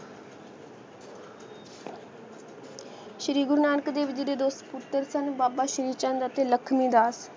ਸ਼੍ਰੀ ਗੁਰੂ ਨਾਨਕ ਦੇਵ ਜੀ ਦੇ ਸਪੁੱਤਰ ਸਨ ਬਾਬਾ ਸ਼੍ਰੀ ਚੰਦ ਅਤੇ ਲਖਮੀ ਦਾਸ